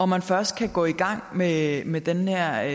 man først kan gå i gang med med den her